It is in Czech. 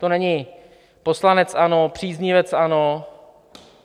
To není poslanec ANO, příznivec ANO.